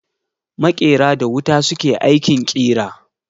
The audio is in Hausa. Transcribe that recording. Makera da wuta su ke aikin kira.